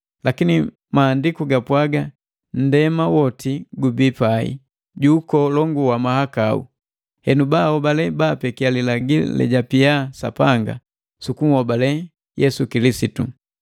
Lakini Maandiku gapwagiki nndema woti gubii pai ju ukolongu wa mahakau, henu baahobale baapekiya lilagi lejapia Sapanga, sukunhobale Yesu Kilisitu.